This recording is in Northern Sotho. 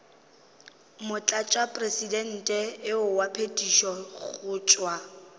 motlatšamopresidente wa phethišo go tšwa